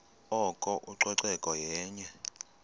oko ucoceko yenye